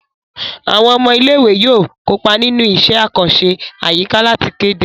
Àwọn ọmọ ilé ìwé yóò kópa nínú iṣẹ́ àkànṣe àyíká láti kéde